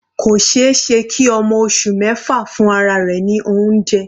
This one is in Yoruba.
Kò ṣeéṣe kí ọmọ oṣù mẹfa fún ara rẹ̀ ní oúnjẹ.